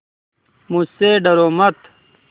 मुझसे डरो मत